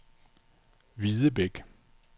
Hvidebæk